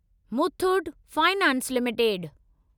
Muthoot finance limited